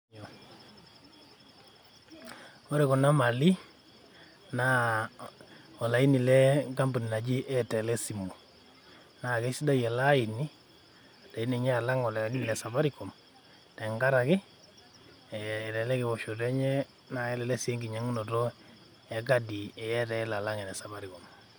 Ore kuna mali, na olaini lenkampuni naji Airtel esimu. Na kesidai ele aini, sidai ninye alang' ele Safaricom, tenkaraki elelek ewoshoto enye na kelelek si enkinyang'unoto ekadi e Airtel alang' ene Safaricom.